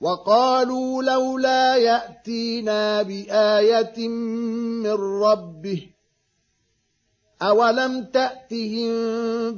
وَقَالُوا لَوْلَا يَأْتِينَا بِآيَةٍ مِّن رَّبِّهِ ۚ أَوَلَمْ تَأْتِهِم